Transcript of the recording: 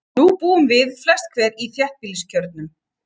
Nú búum við, flest hver, í þéttbýliskjörnum.